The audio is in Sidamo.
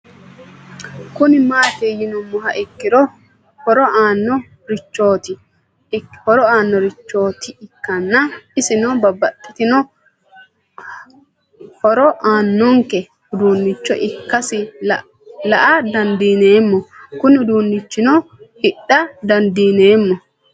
Kuni mati yinumoha ikiro horo aano richoti ikana isino babaxitino hora aananke udunicho ikasi la'a dandineemo Kuni udunichino hidha dandinemo